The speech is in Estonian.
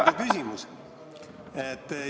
Aga küsimus?